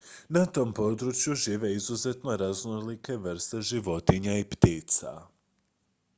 na tom području žive izuzetno raznolike vrste životinja i ptica